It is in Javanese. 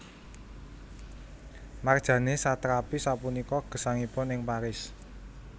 Marjane Satrapi sapunika gesangipun ing Paris